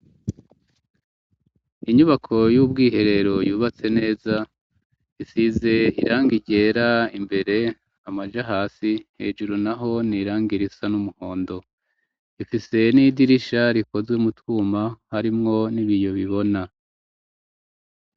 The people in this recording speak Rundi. Inyubako y'ubwiherero yubatse neza, isize irangi ryera. Imbere amaja hasi, hejuru n'aho n 'iranga risa n'umuhondo. Ifise n'idirisha rikozwe mutwuma, harimwo n'ibiyo bibona.